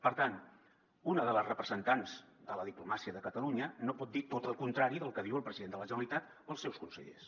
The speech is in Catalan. per tant una de les representants de la diplomàcia de catalunya no pot dir tot el contrari del que diuen el president de la generalitat o els seus consellers